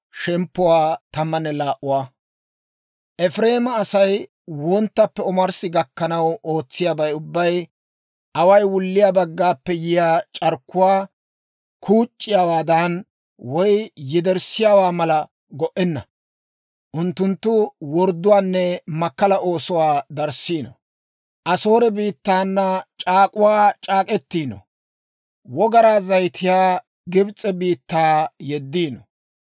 Efireema Asay wonttappe omarssi gakkanaw ootsiyaabay ubbay, away wulliyaa baggappe yiyaa c'arkkuwaa kuuc'c'iyaawaadan woy yederssiyaawaa mala go"enna. Unttunttu wordduwaanne makkalaa oosuwaa darissiino; Asoore biittaana c'aak'uwaa c'aak'k'etiino; wogaraa zayitiyaa Gibs'e biittaa yeddiino.